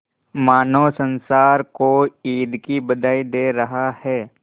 मानो संसार को ईद की बधाई दे रहा है